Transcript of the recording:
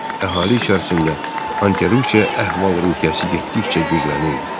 Əhali içərisində anti-Rusiya əhval-ruhiyyəsi getdikcə güclənirdi.